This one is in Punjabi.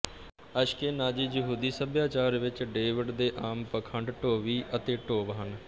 ਅਸ਼ਕੇਨਾਜ਼ੀ ਯਹੂਦੀ ਸਭਿਆਚਾਰ ਵਿੱਚ ਡੇਵਿਡ ਦੇ ਆਮ ਪਖੰਡ ਡੋਵੀ ਅਤੇ ਡੋਵ ਹਨ